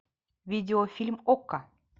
видеофильм окко